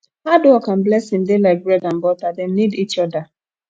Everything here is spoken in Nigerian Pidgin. hard work and blessing dey like bread and butter dem need each oda